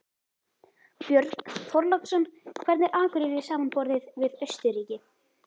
Björn Þorláksson: Hvernig er Akureyri samanborið við Austurríki?